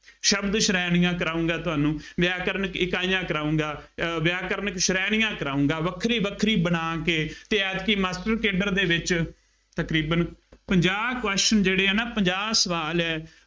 ਸ਼ਬਦ ਸ਼੍ਰੇਣੀਆਂ ਕਰਾਊਂਗਾ ਤੁਹਾਨੂੰ, ਵਿਆਕਰਣ ਇਕਾਈਆਂ ਕਰਾਊਂਗਾ, ਅਹ ਵਿਆਕਰਣਕ ਸ਼੍ਰੇਣੀਆਂ ਕਰਾਊਂਗਾ, ਵੱਖਰੀ ਵੱਖਰੀ ਬਣਾ ਕੇ ਅਤੇ ਐਤਕੀ master cadre ਦੇ ਵਿੱਚ ਤਕਰੀਬਨ ਪੰਜਾਹ questions ਜਿਹੜੇ ਆ ਨਾ, ਪੰਜਾਹ ਸਵਾਲ ਏ